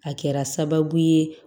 A kɛra sababu ye